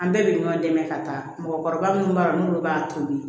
An bɛɛ bɛ ɲɔn dɛmɛ ka taa mɔgɔkɔrɔba munnu b'a dɔn n'olu b'a toli